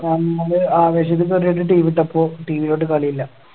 നമ്മള് ആവേശക്കെ കേറി വന്ന് TV ഇട്ടപ്പോ TV ല് ഒട്ട് കളി ഇല്ല